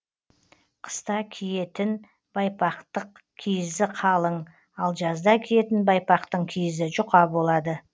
қыста киетіп байпақтық киізі қалың ал жазда киетін байпақтың киізі жұқа болады